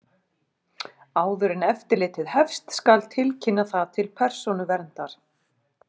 Áður en eftirlitið hefst skal tilkynna það til Persónuverndar.